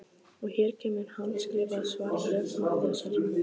Og hér kemur handskrifað svarbréf Matthíasar